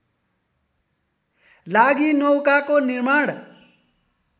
लागि नौकाको निर्माण